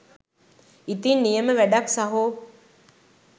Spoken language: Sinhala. ඉතින් නියම වැඩක් සහෝ!